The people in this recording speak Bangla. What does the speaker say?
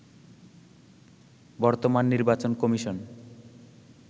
বর্তমান নির্বাচন কমিশন